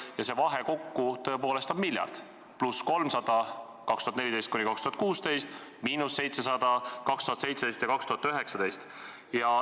Ja see vahe kokku on tõepoolest miljard: pluss 300 miljonit aastail 2014–2016, miinus 700 miljonit aastail 2017 ja 2019.